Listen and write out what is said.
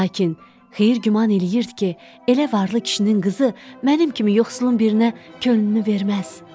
Lakin Xeyir güman eləyirdi ki, elə varlı kişinin qızı mənim kimi yoxsulun birinə könlünü verməz.